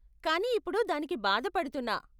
కానీ ఇప్పుడు దానికి బాధపడుతున్నా.